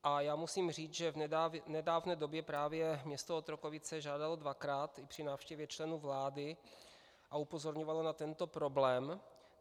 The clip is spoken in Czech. A já musím říct, že v nedávné době právě město Otrokovice žádalo dvakrát i při návštěvě členů vlády a upozorňovalo na tento problém.